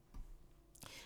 DR2